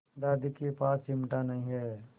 दादी के पास चिमटा नहीं है